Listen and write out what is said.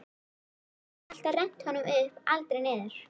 Hann hafði alltaf rennt honum upp, aldrei niður.